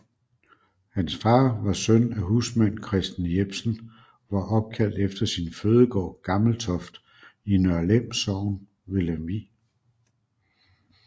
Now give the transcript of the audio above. Hans far var søn af husmand Christen Jepsen og var opkaldt efter sin fødegård Gammeltoft i Nørlem Sogn ved Lemvig